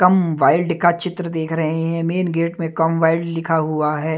कम wild का चित्र देख रहे हैं मेन गेट में कम वाइल्ड लिखा हुआ है।